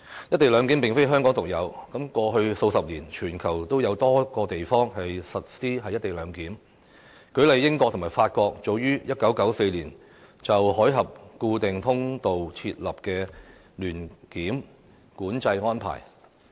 "一地兩檢"安排並非香港獨有，過去數十年，全球已有多個地方實施"一地兩檢"，例如英國與法國早於1994年就海峽固定通道設立聯檢管制安排。